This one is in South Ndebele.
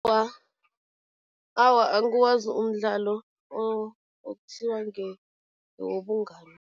Awa, angiwazi umdlalo okuthiwa ngewobungani.